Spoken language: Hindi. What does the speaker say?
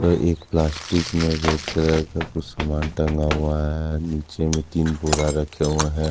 तो एक प्लास्टिक में रेड कलर का कुछ सामान टंगा हुआ है नीचे में तीन बोरा रखे हुए हैं।